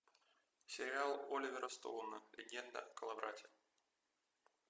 сериал оливера стоуна легенда о коловрате